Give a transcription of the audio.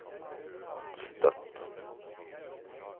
Støtt